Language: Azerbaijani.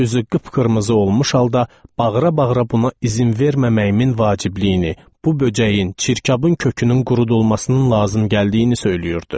Üzü qıpqırmızı olmuş halda bağıra-bağıra buna izin verməməyimin vacibliyini, bu böcəyin, çirkabın kökünün qurudulmasının lazım gəldiyini söyləyirdi.